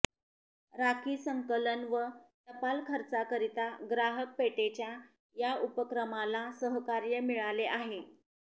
राखी संकलन व टपाल खर्चाकरिता ग्राहक पेठेच्या या उपक्रमाला सहकार्य मिळाले आहे